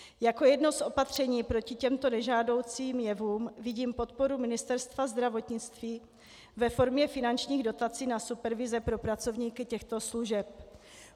Jako jedno z opatření proti těmto nežádoucím jevům vidím podporu Ministerstva zdravotnictví ve formě finančních dotací na supervize pro pracovníky těchto služeb.